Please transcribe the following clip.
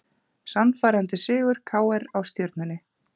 Sannfærandi sigur KR á Stjörnunni